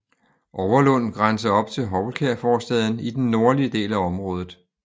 Overlund grænser op til Houlkær forstaden i den nordlige del af området